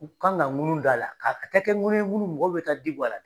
U kan ka ŋunu da la, ka a ka kɛ kɛ ŋunu mun mɔgɔw bi taa di bɔ a la.